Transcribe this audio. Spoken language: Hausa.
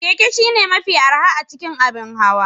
Keke shine mafi arha a cikin abin hawa